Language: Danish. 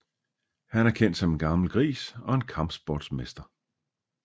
Han er kendt som en gammel gris og en kampsportsmester